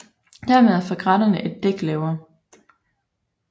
Dermed er fregatterne ét dæk lavere